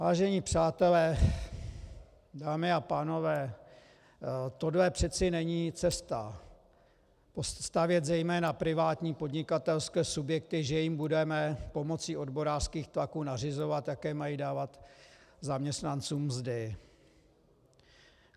Vážení přátelé, dámy a pánové, tohle přece není cesta, stavět zejména privátní podnikatelské subjekty, že jim budeme pomocí odborářských tlaků nařizovat, jaké mají dávat zaměstnancům mzdy.